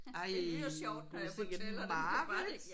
Ej du sikke et mareridt